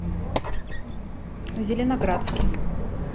зеленоградске